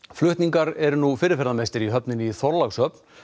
flutningar eru nú fyrirferðarmestir í höfninni í Þorlákshöfn